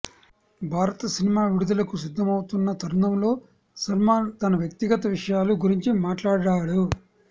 భారత్ సినిమా విడుదలకు సిద్దమవుతున్న తరుణంలో సల్మాన్ తన వ్యక్తిగత విషయాల గురించి మాట్లాడాడు